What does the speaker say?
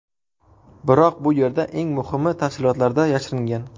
Biroq bu yerda eng muhimi tafsilotlarda yashiringan.